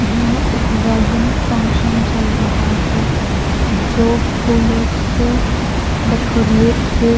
यह एक wedding function चल रहा है जो फूलों से डेकोरेट है।